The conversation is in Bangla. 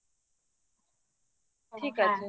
ঠিক আছে